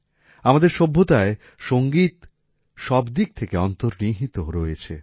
আমাদের সভ্যতায় সংগীত সবদিক থেকে অন্তর্নিহিত রয়েছে